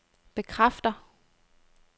bekræfter